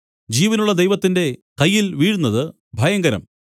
ജീവനുള്ള ദൈവത്തിന്റെ കയ്യിൽ വീഴുന്നത് ഭയങ്കരം